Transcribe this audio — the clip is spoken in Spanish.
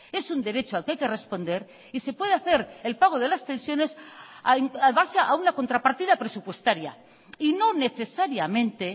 es un derecho al que hay que responder y se puede hacer el pago de las pensiones en base a una contrapartida presupuestaria y no necesariamente